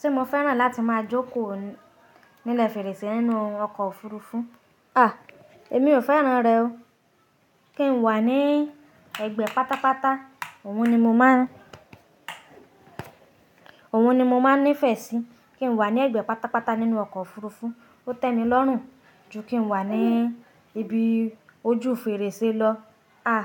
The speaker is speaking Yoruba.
Ṣé mo fẹ́ràn láti máa jókòó nílẹ̀ fèrèsé nínú ọkọ̀ òfurufú? À, èmi ò fẹ́ràn rẹ̀ o. Kí n wà ní ẹ̀gbẹ́ pátápátá, òun ni mo máà, òun ni mo máa nífẹ̀ẹ́ sí. Kí n wà ní ẹ̀gbẹ́ pátápátá nínú ọkọ̀ òfurufú, ó tẹ́ni lọ́rùn ju kí n wà ní ibi ojú fèrèsé lọ. À,